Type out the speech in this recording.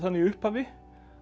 í upphafi að